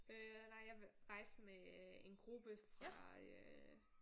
Øh nej jeg rejste med øh en gruppe fra øh